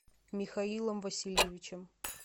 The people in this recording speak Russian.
михаилом васильевичем